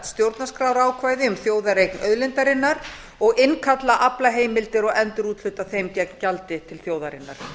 stjórnarskrárákvæði um þjóðareign auðlindarinnar og innkalla aflaheimildir og endurúthluta þeim gegn gjaldi til þjóðarinnar